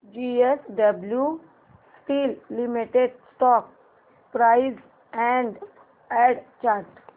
JSW steel limited stock price and chart